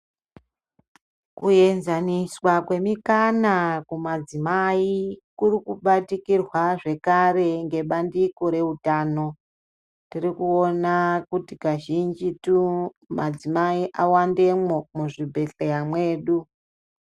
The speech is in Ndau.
Kjenzanoswa kwemikana kumadzimai kuri kubatikirwa zvekare nebandiko reutano tiri kuona kuti kazhinjitu kuti madzimai awandemwo muzvibhedhleya mwedu.